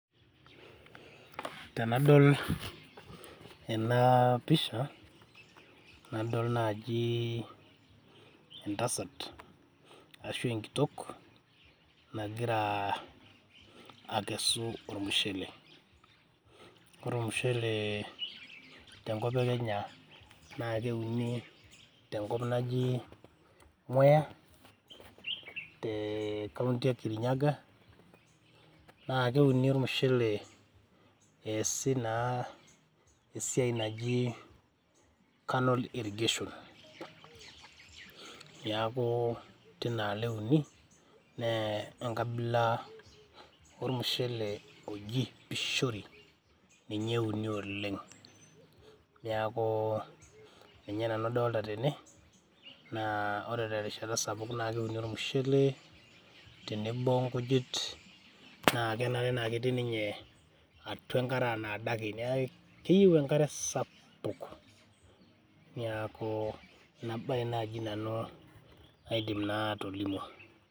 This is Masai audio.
Tenadol ena pisha , nadol naji entasat ashu enkitok nagira akesu ormushele. Ore ormushele tenkop ekenya naa keuni tenkop naji mwea tecounty ekirinyaga naa keuni ormushele eesi naa esiai naji canal irrigation. Niaku tinaalo euni nee enkabila ormushele oji pishori ninye euni oleng, niaku ninye nanu adolta tene naa ore terishata sapuk naa keuni ormushele tenebo onkujit naa kenare naa ketii ninye atua enkare anaa adake , neaku keyieu enkare sapuk .